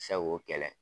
Seko kɛlɛ